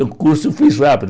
O curso eu fiz rápido.